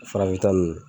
Farafinta ninnu